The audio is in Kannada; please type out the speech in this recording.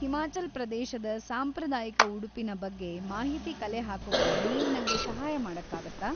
ಹಿಮಾಚಲ್‌ ಪ್ರದೇಶದ ಸಾಂಪ್ರದಾಯಿಕ ಉಡುಪಿನ ಬಗ್ಗೆ ಮಾಹಿತಿ ಕಲೆಹಾಕೋಕೆ ನೀವು ನಂಗೆ ಸಹಾಯ ಮಾಡಕ್ಕಾಗತ್ತಾ?